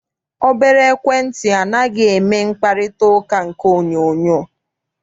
Obere ekwentị anaghị eme mkparịtaụka nke onyoonyoo